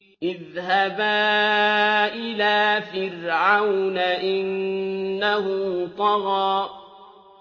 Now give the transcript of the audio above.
اذْهَبَا إِلَىٰ فِرْعَوْنَ إِنَّهُ طَغَىٰ